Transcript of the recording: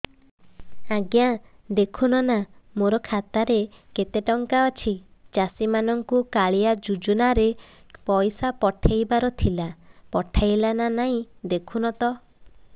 ଆଜ୍ଞା ଦେଖୁନ ନା ମୋର ଖାତାରେ କେତେ ଟଙ୍କା ଅଛି ଚାଷୀ ମାନଙ୍କୁ କାଳିଆ ଯୁଜୁନା ରେ ପଇସା ପଠେଇବାର ଥିଲା ପଠେଇଲା ନା ନାଇଁ ଦେଖୁନ ତ